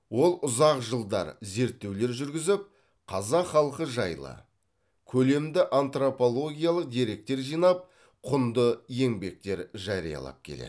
ол ұзақ жылдар зерттеулер жүргізіп қазақ халқы жайлы көлемді антропологиялық деректер жинап құнды еңбектер жариялап келеді